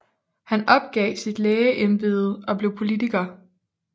Han opgav sit lægeembede og blev politiker